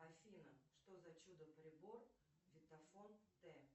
афина что за чудо прибор витафон т